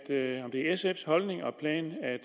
det er sfs holdning og plan